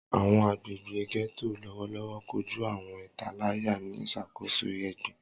Awọn agbegbe Getto lọwọlọwọ koju awọn italaya ni iṣakoso egbin.